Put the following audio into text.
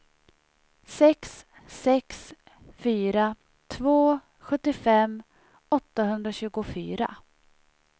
sex sex fyra två sjuttiofem åttahundratjugofyra